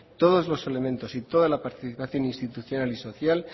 todos los elementos y toda la participación institucional y social